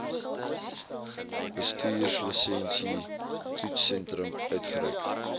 bestuurslisensie toetssentrum uitgereik